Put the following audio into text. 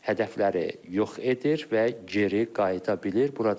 Hədəfləri yox edir və geri qayıda bilir.